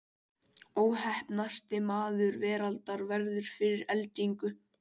Óheppnasti maður veraldar verður fyrir eldingu